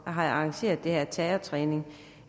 har arrangeret den her terrortræning